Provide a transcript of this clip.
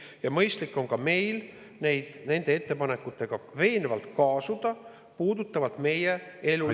Ja mõistlik on ka meil veenvalt kaasuda nende ettepanekutega, mis puudutavad meie elulisi …